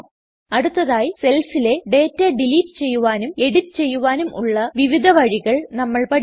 അടുത്തതായി സെൽസിലെ data delete ചെയ്യുവാനും എഡിറ്റ് ചെയ്യുവാനും ഉള്ള വിവിധ വഴികൾ നമ്മൾ പഠിക്കും